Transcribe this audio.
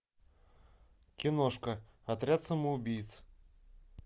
киношка отряд самоубийц